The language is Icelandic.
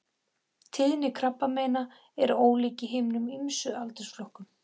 Tíðni krabbameina er ólík í hinum ýmsu aldursflokkum.